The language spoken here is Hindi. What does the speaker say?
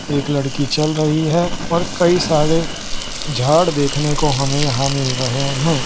एक लड़की चल रही है और कई सारे झाड़ देखने को हमें यहां मिल रहे हैं।